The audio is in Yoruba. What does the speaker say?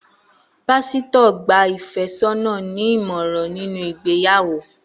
Pásítọ̀ gba ìfẹ́sọ́nà ní ìmọ̀ràn nínú ìgbéyàwó